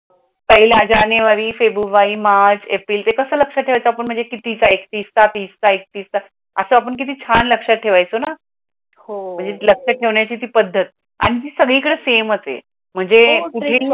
पहिला जानेवारी, फेब्रुवारी, मार्च, एप्रिल ते कस आपण लक्षात देवायचो महाणजे आपण किती असा आपण किती शान लक्षात डेवायचो ना. लक्ष्य डेवण्याची ती पदत, ती सगडी कडे सेम असते महणजे